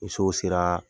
Ni sow seraa